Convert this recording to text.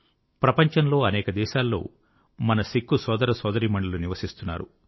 ప్రపంచంలో అనేక దేశాల్లో మన సిక్కు సోదరసోదరీమణులు నివసిస్తున్నారు